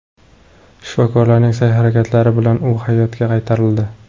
Shifokorlarning sa’y-harakatlari bilan u hayotga qaytarildi.